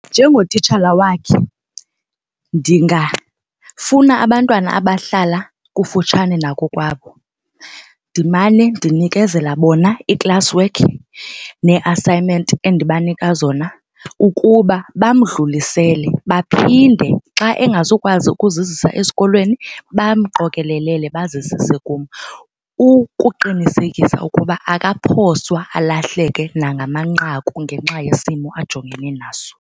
Njengotitshala wakhe ndingafuna abantwana abahlala kufutshane nakokwabo ndimane ndinikezela bona ii-classwork nee-assignment endibanika zona ukuba bamdlulisele, baphinde xa engazukwazi ukuzizisa esikolweni bamqokelelele bazizise kum. Ukuqinisekisa ukuba akaphoswa alahleke nangamanqaku ngenxa yesimo ajongene naso.